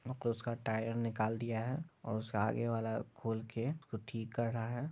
मतलब उसका टायर निकल दिया है और उसका आगे वाला खोल के ठीक कर रहा है।